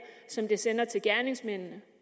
som det sender til gerningsmændene